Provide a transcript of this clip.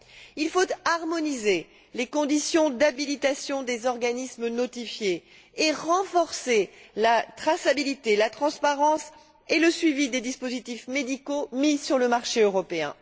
Il faut harmoniser les conditions d'habilitation des organismes notifiés et renforcer la traçabilité, la transparence et le suivi des dispositifs médicaux mis sur le marché européen.